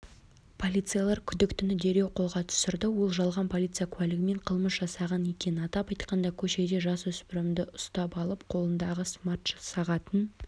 полицейлер күдіктіні дереу қолға түсірді ол жалған полиция куәлігімен қылмыс жасаған екен атап айтқанда көшеде жасөспірімді ұстап алып қолындағы смарт-сағатын шешіп